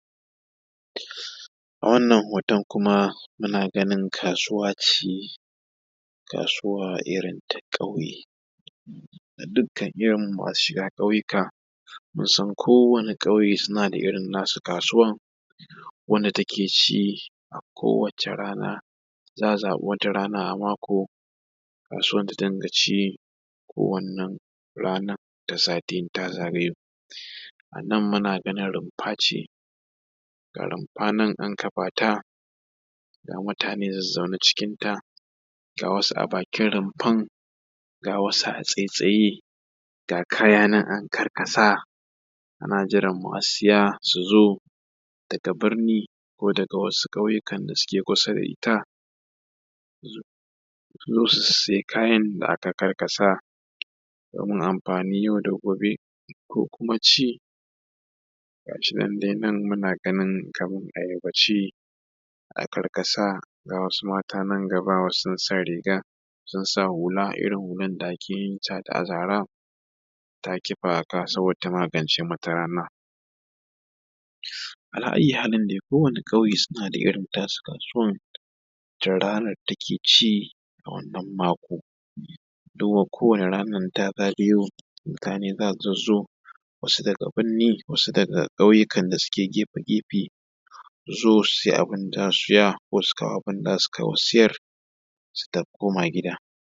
Wannan hoton muna ganin kasuwa ce, kasuwa irin ta ƙauye. a dukkan irin masu shiga ƙauyuka, shigen kowane ƙauye suna da nasu irin kasuwan wacce take ci a kowace rana, za a zaɓa wata rana a mako kasuwan ta dimga ci, kawanan ranan ta sati in ta zagayo. A nan muna ganin rumfa ce, ga rumfa nan an kafa ta, ga mutane nan zazzaune cikinta ga wasu a bakin rumfan ga wasu a tsattsaye ga kaya nan an karkasa ana jiran masu saya su zo daga birni ko ƙauyukan dake kusa da ita, su zo su sayi kayan da aka karkasa. Domin amfanin yau da gobe ko kuma ci. Ga shi nan muna ganin kamar ayaba ce akarkasa ga wasu mata nan gaba sun sa riga sun sa hula, irin hulan da ake yin ta da azara, ta kifa a ka saboda ta magance mata rana. Ala’ayyuhalin dai kowani ƙauye dai suna da irin tasu kasuwar da ranar da take ci a wannan mako. Duba kowace ranar idan ta zagayo mutane za su zazzo, wasu daga binni wasu daga ƙauyukan da suke gefe-gefe, su zo su siya abin da za su saya ko su kawo abin da za su sayar su koma gida.